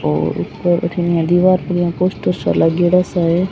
और बो बठीने इया दिवार पे यान पोस्टर सो लागेड़ाे सो है।